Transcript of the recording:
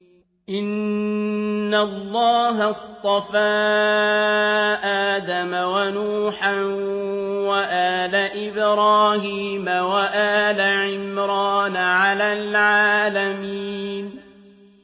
۞ إِنَّ اللَّهَ اصْطَفَىٰ آدَمَ وَنُوحًا وَآلَ إِبْرَاهِيمَ وَآلَ عِمْرَانَ عَلَى الْعَالَمِينَ